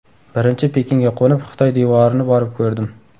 Birinchi Pekinga qo‘nib, Xitoy devorini borib ko‘rdim.